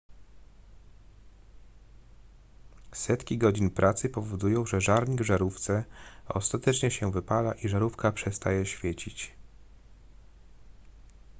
setki godzin pracy powodują że żarnik w żarówce ostatecznie się wypala i żarówka przestaje świecić